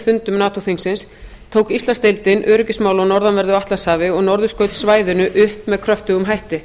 fundum nato þingsins tók íslandsdeildin öryggismál á norðanverðu atlantshafi og norðurskautssvæðinu upp með kröftugum hætti